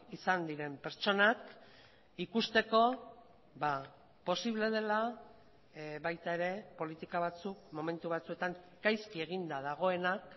izan diren pertsonak ikusteko posible dela baita ere politika batzuk momentu batzuetan gaizki eginda dagoenak